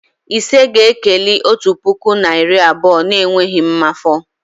Ise ga-ekeli otu puku na iri anọ n'enweghị mmafọ